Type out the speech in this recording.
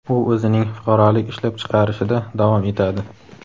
u o‘zining fuqarolik ishlab chiqarishida davom etadi.